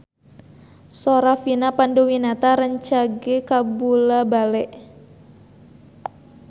Sora Vina Panduwinata rancage kabula-bale